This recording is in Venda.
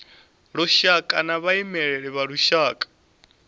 lushaka na vhaimeleli vha lushaka